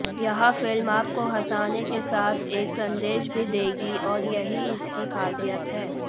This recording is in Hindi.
यह फिल्म आपको हंसाने के साथ एक संदेश भी देगी और यही इसकी खासियत है